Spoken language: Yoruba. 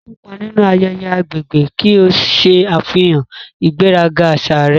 Kópa nínú ayẹyẹ agbègbè ki o ṣe àfihàn ìgbéraga àṣà rẹ.